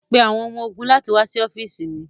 Pe awọn ọmọ-ogun lati wa si ọfiisi mi